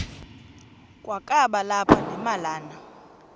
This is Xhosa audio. kwakaba lapha nemalana